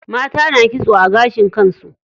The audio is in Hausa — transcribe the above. Mata na kitso a gashin kan su.